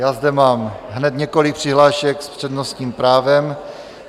Já zde mám hned několik přihlášek s přednostním právem.